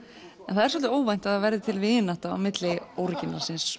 það er svolítið óvænt að það verði til vinátta á milli